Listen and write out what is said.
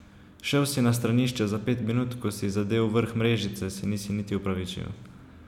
Šel si na stranišče za pet minut, ko si zadel vrh mrežice, se nisi niti opravičil.